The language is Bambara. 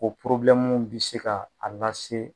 o bi se ka a lase.